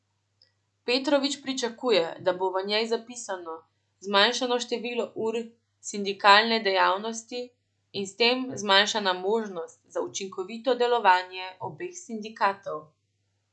Petrovič pričakuje, da bo v njej zapisano zmanjšano število ur za sindikalne dejavnosti in s tem zmanjšana možnost za učinkovito delovanje obeh sindikatov.